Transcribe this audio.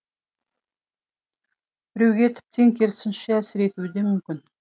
біреуге тіптен керісінше әсер етуі де мүмкін